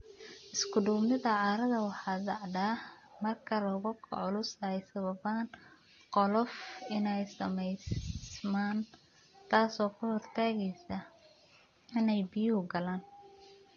Isku-duubnida carrada waxay dhacdaa marka roobabka culus ay sababaan qolof inay samaysmaan, taasoo ka hortagaysa inay biyuhu galaan.